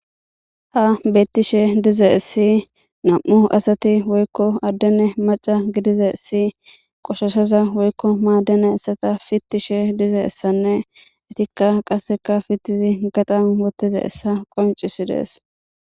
Ha bettishe dize essi nam'u asati woykko addene maca gidiza essi qoshoseza woykko maaddena essata fittishe dize essanne etikka qasseka fittidi gaxan wottiza essa qoncisi dees